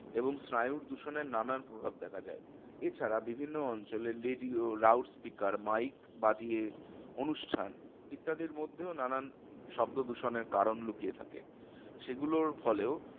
এবং স্নায়ুর দূষণের নানান প্রভাব দেখা যায়। এছাড়া বিভিন্ন অঞ্চলে radio, loud speaker, mike বাজিয়ে অনুষ্ঠান ইত্যাদির মধ্যেও নানান শব্দদূষণের কারণ লুকিয়ে থাকে। সেগুলোর ফলেও